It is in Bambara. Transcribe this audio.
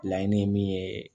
Laɲini ye min ye